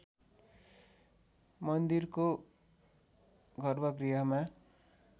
मन्दिरको गर्भगृहमा